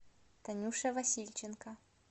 танюша васильченко